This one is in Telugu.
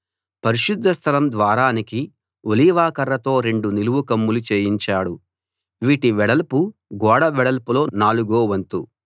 పరిశుద్ధ స్థలం ద్వారానికి ఒలీవ కర్రతో రెండు నిలువు కమ్ములు చేయించాడు వీటి వెడల్పు గోడ వెడల్పులో నాలుగో వంతు